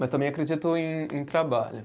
Mas também acredito em em trabalho.